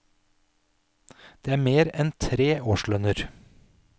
Det er mer enn tre årslønner.